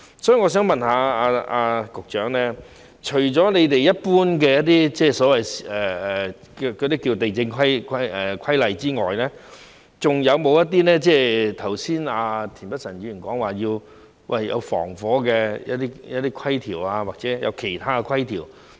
所以，我想問局長，除了一般有關土地的規例之外，是否還有一些剛才田北辰議員提及的消防方面的規例，或者其他規條？